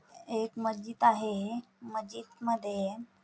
एक मस्जिद आहे हे मस्जिद मध्ये--